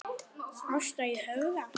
Ásta í Höfða.